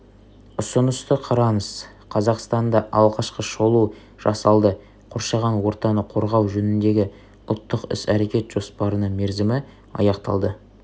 ұсынысты қараңыз қазақстанда алғашқы шолу жасалды қоршаған ортаны қорғау жөніндегі ұлттық іс-әрекет жоспарының мерзімі аяқталды